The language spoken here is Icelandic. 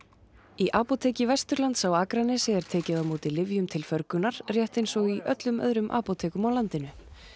í apóteki Vesturlands á Akranesi er tekið á móti lyfjum til förgunar rétt eins og í öllum öðrum apótekum á landinu